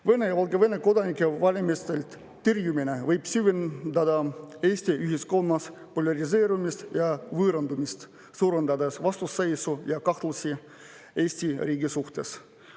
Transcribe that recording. Vene ja Valgevene kodanike valimistelt tõrjumine võib Eesti ühiskonnas süvendada polariseerumist ja võõrandumist, suurendades vastuseisu ja kahtlusi Eesti riigi suhtes.